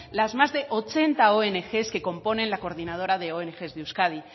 las más de ochenta ong que componen la coordinadora de ong de euskadi